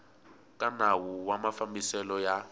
ka nawu wa mafambiselo ya